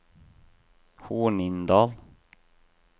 Hornindal